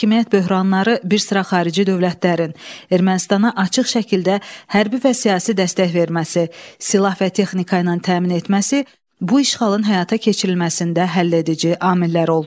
Hakimiyyət böhranları, bir sıra xarici dövlətlərin Ermənistana açıq şəkildə hərbi və siyasi dəstək verməsi, silah və texnika ilə təmin etməsi bu işğalın həyata keçirilməsində həlledici amillər oldu.